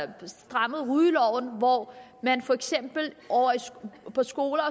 ind og strammet rygeloven hvor man for eksempel på skoler